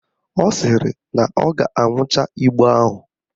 Ọ sịrị na ọ ga-aṅụcha igbo ahụ